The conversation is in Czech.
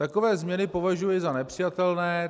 Takové změny považuji za nepřijatelné.